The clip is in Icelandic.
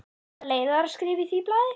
Eða leiðaraskrif í því blaði?